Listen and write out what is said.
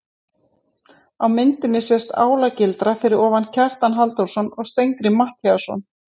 Á myndinni sést álagildra fyrir ofan Kjartan Halldórsson og Steingrím Matthíasson.